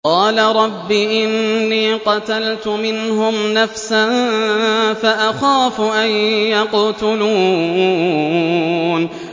قَالَ رَبِّ إِنِّي قَتَلْتُ مِنْهُمْ نَفْسًا فَأَخَافُ أَن يَقْتُلُونِ